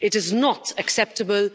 It is not acceptable.